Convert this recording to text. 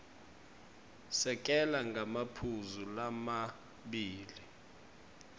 sekela ngemaphuzu lamabili